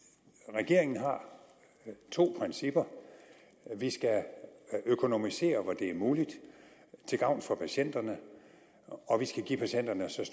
regeringen har to principper vi skal økonomisere hvor det er muligt til gavn for patienterne og vi skal give patienterne så